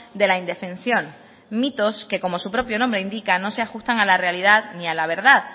de la indefensión mitos que como su propio nombre indica no se ajustan a la realidad ni al a verdad